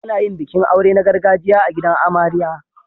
Ana yin bikin aure na gargajiya a gidan amarya.